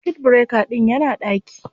Circuit breaker ɗin yana ɗaki